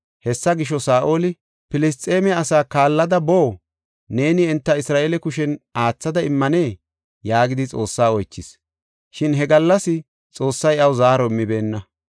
Hessa gisho, Saa7oli, “Filisxeeme asaa kaallada boo? Neeni enta Isra7eele kushen aathada immanee?” yaagidi Xoossaa oychis. Shin he gallas Xoossay iyaw zaaro immibeenna.